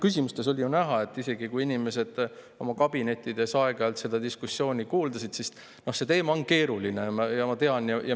Küsimuste põhjal oli ju näha – isegi siis, kui inimesed oma kabinettides aeg-ajalt seda diskussiooni kuulasid –, et see teema on keeruline.